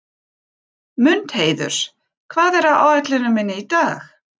Mundheiður, hvað er á áætluninni minni í dag?